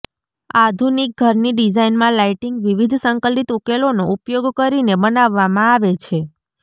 આધુનિક ઘરની ડિઝાઇનમાં લાઇટિંગ વિવિધ સંકલિત ઉકેલોનો ઉપયોગ કરીને બનાવવામાં આવે છે